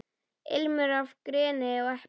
Ilmur af greni og eplum.